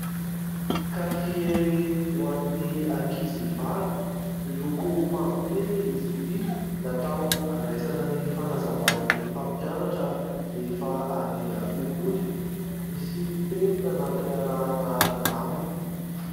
Kahie ho an'ny ankizy vavy miloko mavokely izy ity, natao andraisana ny fanazavan'ny mpampianatra rehefa any an-tsekoly. Misy penina nampiarahana aminy.